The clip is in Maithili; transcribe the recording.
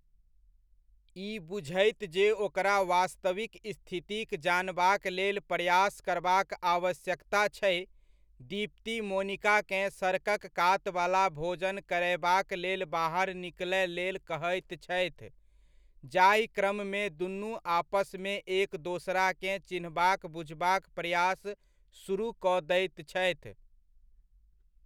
ई बुझैत जे ओकरा वास्तविक स्थितिक जानबाक लेल प्रयास करबाक आवश्यकता छै, दीप्ति मोनिकाकेँ सड़कक कातवला भोजन करयबाक लेल बाहर निकलय लेल कहैत छथि, जाहि क्रममे दुनू आपसमे एक दोसराकेँ चिन्हबाक बुझबाक प्रयास सुरुह कऽ दैत छथि।